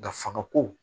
Dafaga ko